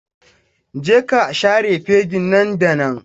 Je ka share fegin nan da nan!